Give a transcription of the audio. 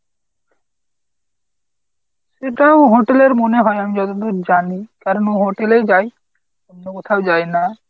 সেটাও hotel এর মনে হয় আমি যতদূর জানি। কারণ ও hotel এই যায়। অন্য কোথাও যায় না।